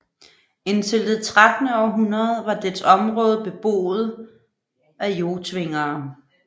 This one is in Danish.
Indtil det trettende århundrede var dets område beboet af Jotvingere